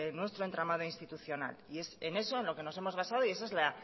nuestro entramado institucional y es en eso en lo que nos hemos basado y esa es la